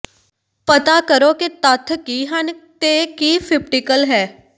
ਪਤਾ ਕਰੋ ਕਿ ਤੱਥ ਕੀ ਹਨ ਅਤੇ ਕੀ ਫਿਪਟੀਕਲ ਹੈ